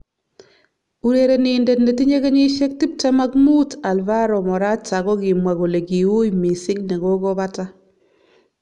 Urenenindet netinye kenyishek tip tem ak mut Alvaro Morata kokimwa kole ki ui missing nekokobata.